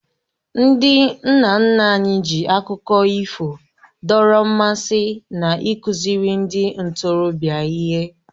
Ndị nna nna anyị ji akụkọ ifo dọrọ mmasị na ịkụziri ndị ntorobịa ihe